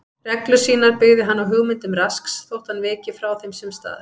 Reglur sínar byggði hann á hugmyndum Rasks þótt hann viki frá þeim sums staðar.